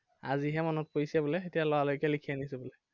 আজি হে মনত পৰিছে বোলে, এতিয়া লৰালৰিকে লিখি আনিছো বোলে।